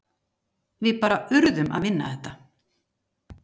Við bara urðum að vinna þetta.